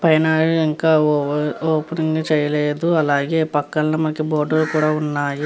పైన ఇంకా ఒపెనింగ్ చేయలేదు అలాగే పక్కన మనకి బోర్డు ఉన్నాయి.